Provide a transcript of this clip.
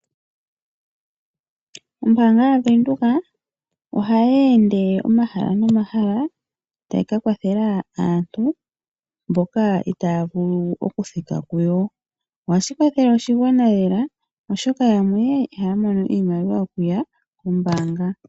Ombaanga yaVenduka ohayi ende omahala nomahala , tayi kakwathela aantu mboka taya vulu okuthika kuyo. Ohashi kwathele oshigwana lela, oshoka yamwe ihaya mono iimaliwa yokuya kombaanga.